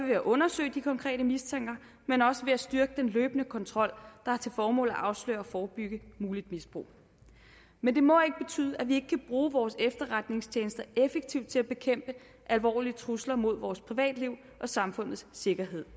at undersøge de konkrete mistanker men også ved at styrke den løbende kontrol der har til formål at afsløre og forebygge muligt misbrug men det må ikke betyde at vi ikke kan bruge vores efterretningstjenester effektivt til at bekæmpe alvorlige trusler mod vores privatliv og samfundets sikkerhed